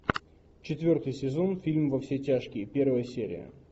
четвертый сезон фильм во все тяжкие первая серия